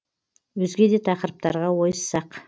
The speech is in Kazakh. өзге де тақырыптарға ойыссақ